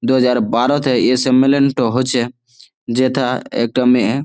দু হাজার বারো তে এই সম্মেলন টি হয়েছে। যেথা একটা মেয়ে খুব--